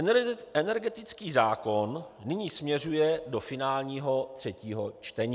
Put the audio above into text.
Energetický zákon nyní směřuje do finálního třetího čtení.